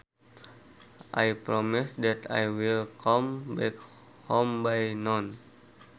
I promise that I will come back home by noon